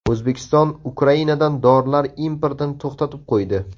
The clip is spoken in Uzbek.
O‘zbekiston Ukrainadan dorilar importini to‘xtatib qo‘ydi.